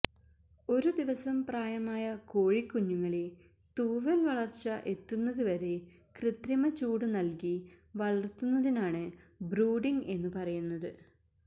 ഒരു ദിവസം പ്രായമായ കോഴിക്കുഞ്ഞുങ്ങളെ തൂവല് വളര്ച്ച എത്തുന്നതുവരെ കൃത്രിമ ചൂട് നല്കി വളര്ത്തുന്നതിനാണ് ബ്രൂഡിംഗ് എന്നു പറയുന്നത്